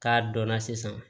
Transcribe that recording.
K'a dɔnna sisan